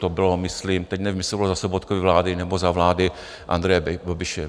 To bylo myslím - teď nevím, jestli bylo za Sobotkovy vlády, nebo za vlády Andreje Babiše.